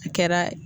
A kɛra